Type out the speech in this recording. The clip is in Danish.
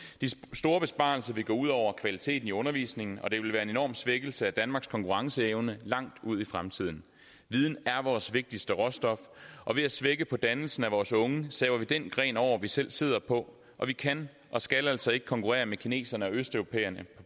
store besparelser vil gå ud over kvaliteten i undervisningen og det vil være en enorm svækkelse af danmarks konkurrenceevne langt ud i fremtiden viden er vores vigtigste råstof og ved at svække dannelsen af vores unge saver vi den gren over vi selv sidder på vi kan og skal altså ikke konkurrere med kineserne og østeuropæerne på